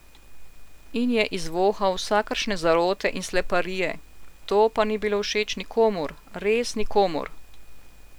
In je izvohal vsakršne zarote in sleparije, to pa ni bilo všeč nikomur, res nikomur.